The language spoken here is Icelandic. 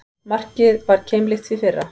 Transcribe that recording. Markið var keimlíkt því fyrra